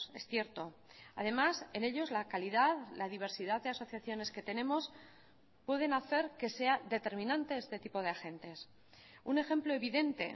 es cierto además en ellos la calidad la diversidad de asociaciones que tenemos pueden hacer que sea determinante este tipo de agentes un ejemplo evidente